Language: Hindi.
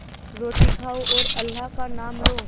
रोटी खाओ और अल्लाह का नाम लो